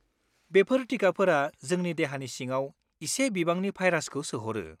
बेफोर टिकाफोरा जोंनि देहानि सिङाव एसे बिबांनि भायरासखौ सोहरो।